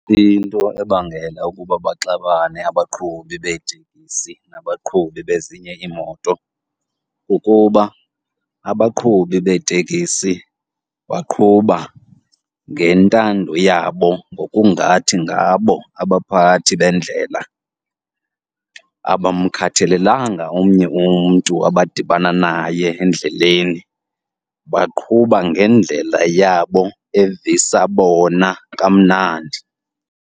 Into ebangela ukuba baxabane abaqhubi beetekisi nabaqhubi bezinye iimoto kukuba abaqhubi beetekisi baqhuba ngentando yabo, ngokungathi ngabo abaphathi bendlela. Abamkhathelelanga omnye umntu abadibana naye endleleni, baqhuba ngendlela yabo evisa bona kamnandi.